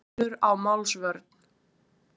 Munur á málsvörn